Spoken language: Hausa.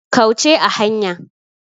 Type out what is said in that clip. Kauce a hanya.